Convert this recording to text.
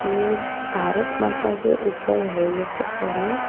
ये भारत माता के ऊपर है ये परफॉर्मेंस ।